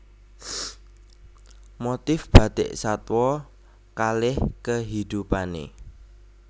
Motif Bathik Satwa kaleh kehidupanne